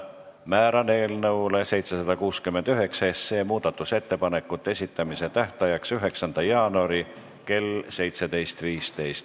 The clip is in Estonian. Määran eelnõu 769 muudatusettepanekute esitamise tähtajaks 9. jaanuari kell 17.15.